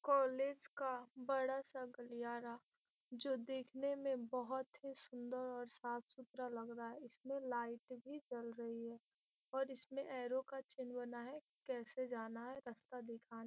college का बड़ा सा गलियारा जो देखने में बहुत ही सुन्दर और साफ सुथरा लग रहा है इसमें लाइट भी जल रही है और इसमें एरो का चिन्ह बना है कैसे जाना है रास्ता दिखाने --